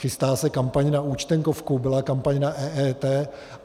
Chystá se kampaň na účtenkovku, byla kampaň na EET.